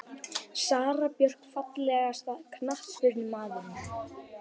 Sara Björk Fallegasti knattspyrnumaðurinn?